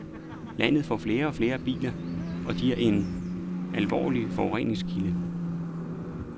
Landet får flere og flere biler, og de er en alvorlig forureningskilde.